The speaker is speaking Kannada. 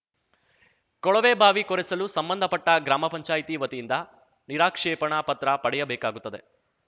ಕೊಳವೆಬಾವಿ ಕೊರೆಸಲು ಸಂಬಂಧಪಟ್ಟಗ್ರಾಮ ಪಂಚಾಯಿತಿ ವತಿಯಿಂದ ನಿರಾಕ್ಷೇಪಣಾ ಪತ್ರ ಪಡೆಯಬೇಕಾಗುತ್ತದೆ